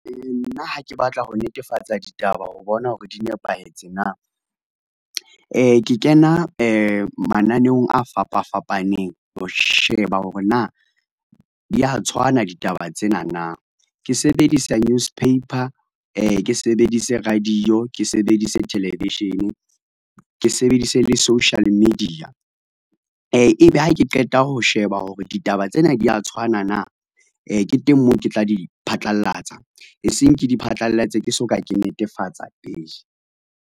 Nna ha ke batla ho netefatsa ditaba ho bona hore di nepahetse na, ke kena mananeong a fapa fapaneng ho sheba hore na, di a tshwana ditaba tsena na. Ke sebedisa newspaper, ke sebedise radio, ke sebedise television, ke sebedise le social media, e be ha ke qeta ho sheba hore ditaba tsena di ya tshwana na. Ke teng moo ke tla di phatlalatsa, e seng ke di phatlalatse ke so ka ke netefatsa pele.